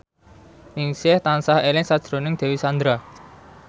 Ningsih tansah eling sakjroning Dewi Sandra